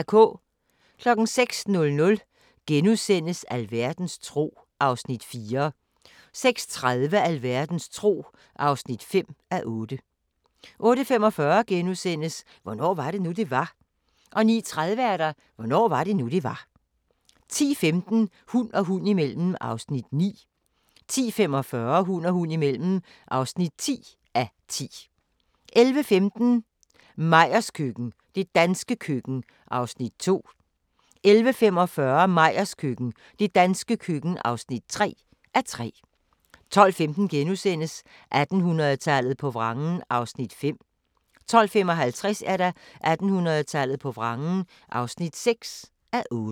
06:00: Alverdens tro (4:8)* 06:30: Alverdens tro (5:8) 08:45: Hvornår var det nu, det var? * 09:30: Hvornår var det nu, det var? 10:15: Hund og hund imellem (9:10) 10:45: Hund og hund imellem (10:10) 11:15: Meyers køkken – det danske køkken (2:3) 11:45: Meyers køkken – det danske køkken (3:3) 12:15: 1800-tallet på vrangen (5:8)* 12:55: 1800-tallet på vrangen (6:8)